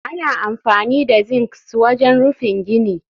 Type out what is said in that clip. Ana amfani da zincs wajen rufin gini